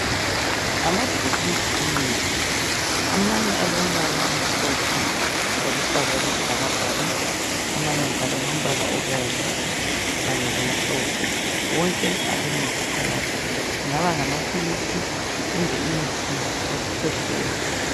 Amabhokisi emithi. Amanye alombala omhlophe loluhlaza okwesibhakabhaka, Amanye njalo alombala obomvu kanye lomhlophe. Wonke alemuthi phakathi, kungabe ngamapilisi kumbe imithi yokukwehlela.